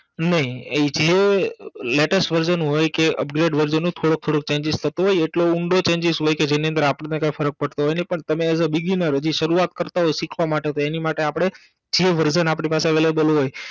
નઇ જે Latest version હોય કે Upgrade version હોય થોડો થોડો Changes થતો હોય એટલો ઊંડો Changes હોય કે જેની અંદર આપણને કાઇ ફરક પડતો હોય નહિ પણ તમે એજ અ Beginner હજી સરૂઆત કરતાં હોય સીખવા માટે તો એની માટે જે version આપની પાસે avalible હોય નહિ